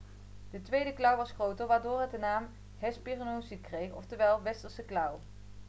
de tweede klauw was groter waardoor het de naam hesperonychus kreeg oftewel westerse klauw'